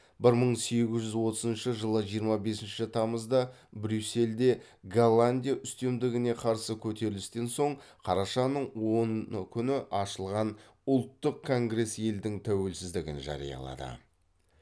бір мың сегіз жүз отызыншы жылы жиырма бесінші тамызда брюссельде голландия үстемдігіне қарсы көтерілістен соң қарашаның оны күні ашылған ұлттық конгресс елдің тәуелсіздігін жариялады